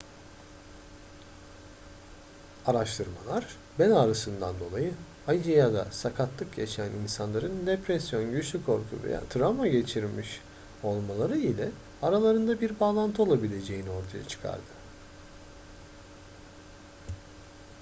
araştırmalar bel ağrısından dolayı acı ya da sakatlık yaşayan insanların depresyon güçlü korku veya travma geçirmiş olmaları ile aralarında bir bağlantı olabileceğini ortaya çıkarttı